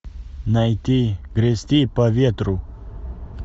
найти грести по ветру